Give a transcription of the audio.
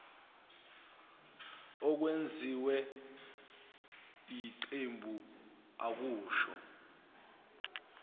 okwenziwe yiqembu akusho